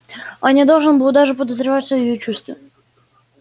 он не должен был даже подозревать о её чувстве